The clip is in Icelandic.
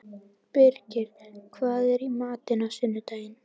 Birgir, hvað er í matinn á sunnudaginn?